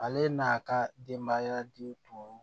Ale n'a ka denbaya de tun